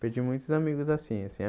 Perdi muitos amigos assim.